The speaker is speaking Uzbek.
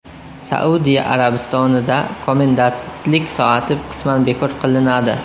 Saudiya Arabistonida komendantlik soati qisman bekor qilinadi.